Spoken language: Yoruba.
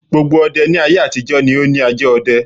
Gbogbo ọdẹ ní aye-àtijọ́ ni ó ni ajá ọdẹ.